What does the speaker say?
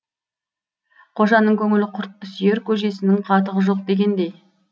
қожаның көңілі құртты сүйер көжесінің қатығы жоқ дегендей